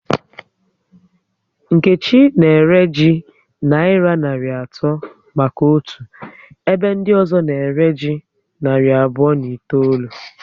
Nkechi na ere ji nayira narị atọ maka otu ebe ndị ọzọ na ere ji narị abụọ na itoolu